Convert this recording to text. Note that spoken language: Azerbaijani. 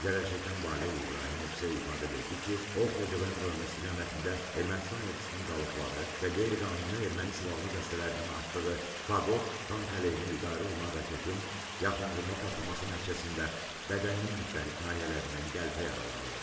Zərərçəkən Valeh İbrahimov isə ifadə verdi ki, o, Xocavənd rayonu istiqamətində Ermənistan ordusunun qalıqları və qeyri-qanuni erməni silahlı dəstələrinin atdığı faqot tank əleyhinə idarə olunan raketin yaxınlığında partlaması nəticəsində bədəninin müxtəlif nahiyələrindən qəlpə yaraları alıb.